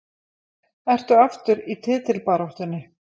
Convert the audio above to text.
Ertu aftur í titilbaráttunni?